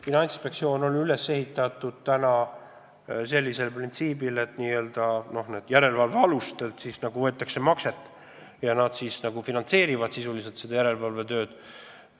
Finantsinspektsioon on üles ehitatud sellise printsiibi kohaselt, et n-ö järelevalvealustelt võetakse makset, nad finantseerivad sisuliselt seda järelevalvetööd.